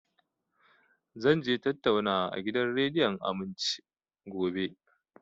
Zan je tattaunawa a gidan rediyon Aminci, gobe